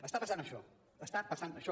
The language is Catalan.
està passant això està passant això